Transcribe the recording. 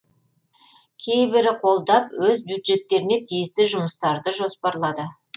кейбірі қолдап өз бюджеттеріне тиісті жұмыстарды жоспарлады